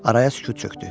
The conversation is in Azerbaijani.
Araya sükut çökdü.